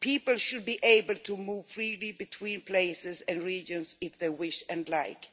People should be able to move freely between places and regions if they wish and like.